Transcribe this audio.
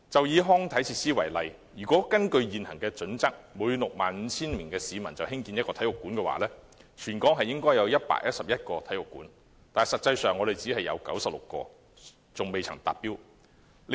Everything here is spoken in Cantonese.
以康體設施為例，根據現行準則，每 65,000 名市民興建1個體育館，全港應有111個體育館，目前只有96個尚未達標。